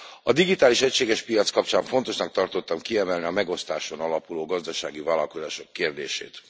A digitális egységes piac kapcsán fontosnak tartottam kiemelni a megosztáson alapuló gazdasági vállalkozások kérdését.